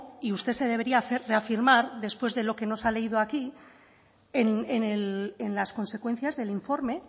y usted se debería reafirmar después de lo que nos ha leído aquí en las consecuencias del informe